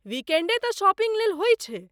वीकेण्डे तँ शॉपिंग लेल होइ छै।